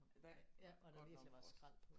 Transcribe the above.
Hva ja det var godt nok også